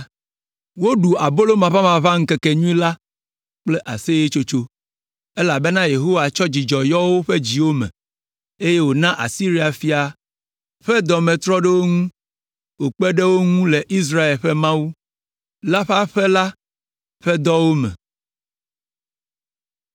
Woɖu abolo maʋamaʋã ŋkekenyui la kple aseyetsotso, elabena Yehowa tsɔ dzidzɔ yɔ woƒe dziwo me, eye wòna Asiria fia ƒe dɔ me trɔ ɖe wo ŋu, wòkpe ɖe wo ŋu le Israel ƒe Mawu la ƒe aƒe la ƒe dɔwo me.